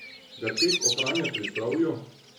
Ga tek ohranja pri zdravju?